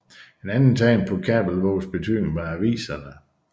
Et andet tegn på Kabelvågs betydning var aviserne